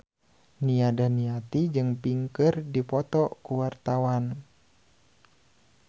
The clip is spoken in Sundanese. Nia Daniati jeung Pink keur dipoto ku wartawan